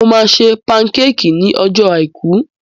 Mo máa ṣe pankéékìì ní ọjọ́ àìkú.